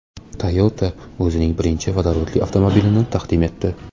Toyota o‘zining birinchi vodorodli avtomobilini taqdim etdi .